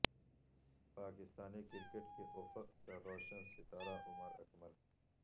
Pakistani cricket کے افق کا روشن ستارہ عمر اکمل